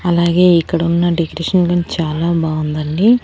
అలాగే ఇక్కడ ఉన్న డెకరేషన్ గని చాలా బావుందండి.